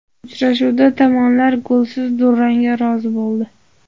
Uchrashuvda tomonlar golsiz durangga rozi bo‘ldi.